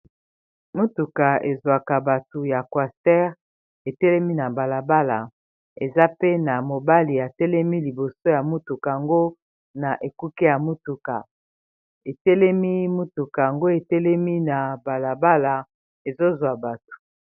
mutuka ezwaka bato ya cuastere etelemi na balabala eza pe na mobali ya telemi liboso ya motuka ngo na ekuke ya motuka etelemi motuka ango etelemi na balabala ezozwa bato